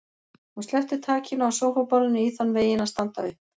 Hún sleppti takinu á sófaborðinu í þann veginn að standa upp.